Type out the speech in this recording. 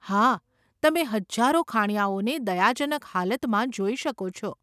હા, તમે હજારો ખાણીયાઓને દયાજનક હાલતમાં જોઈ શકો છો.